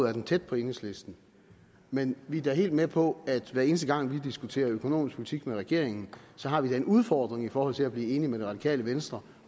er den tæt på enhedslistens men vi er da helt med på at hver eneste gang vi diskuterer økonomisk politik med regeringen har vi en udfordring i forhold til at blive enige med det radikale venstre